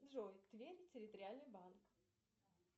джой тверь территориальный банк